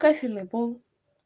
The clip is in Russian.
кафельный пол